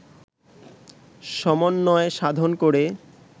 সমন্বয় সাধন করে